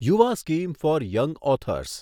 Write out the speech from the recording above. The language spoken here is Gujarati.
Yuva scheme for young authors